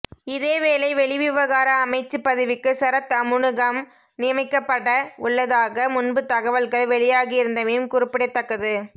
இதேவேளை வெளிவிவகார அமைச்சுப் பதவிக்கு சரத் அமுனுகம நியமிக்கப்பட உள்ளதாக முன்பு தகவல்கள் வெளியாகியிருந்தமையும் குறிப்பிடத்தக்கது